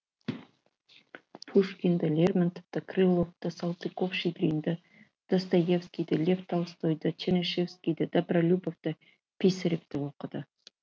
пушкинді лермонтовты крыловты салтыков щедринді достоевскийді лев толстойды чернышевскийді добролюбовты писаревті окыды